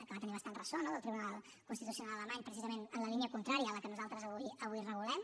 que va tenir bastant ressò no del tribunal constitucional alemany precisament en la línia contrària a la que nosaltres avui regulem